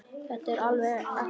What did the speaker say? Þetta er alveg ekta.